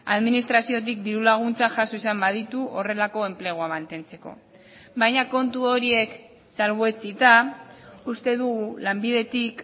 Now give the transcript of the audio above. administraziotik diru laguntza jaso izan baditu horrelako enplegua mantentzeko baina kontu horiek salbuetsita uste dugu lanbidetik